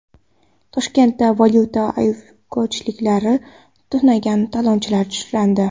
Toshkentda valyuta ayirboshchisini tunagan talonchilar ushlandi.